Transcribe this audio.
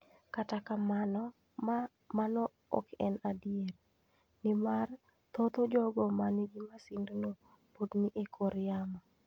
Kata kamano, mano ok en adier, nimar thoth jogo ma nigi masindno pod ni e kor yamo.